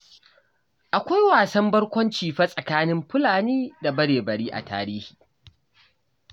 Akwai wasan barkwanci fa tsakanin Fulani da Bare-bari a tarihi